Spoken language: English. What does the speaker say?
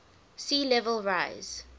sea level rise